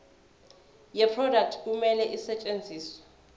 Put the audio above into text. yeproduct kumele isetshenziswe